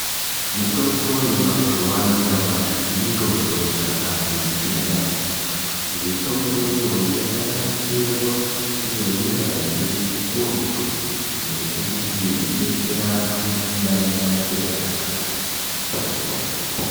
Mutombo yemazuva anyamashi mitombo yakatimakira yambo mitomboyo yakanasirwa neunyadzvi ukurutu yekuti idetsere vanhu vanenge vanematenda akati kuti.